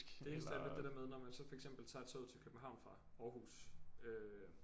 Det eneste er lidt det der med når man så for eksempel tager toget til København fra Aarhus øh